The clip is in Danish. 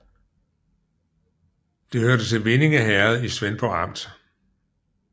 Det hørte til Vindinge Herred i Svendborg Amt